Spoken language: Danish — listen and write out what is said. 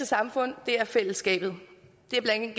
samfund er fællesskabet det er blandt